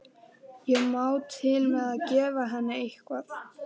Ég má til með að gefa henni eitthvað.